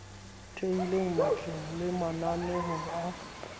thehileng matleng le mananeong a